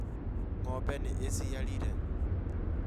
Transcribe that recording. Ng'ombe nĩ ĩciarĩire